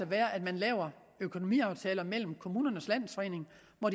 være at man laver økonomiaftaler mellem kommunernes landsforening og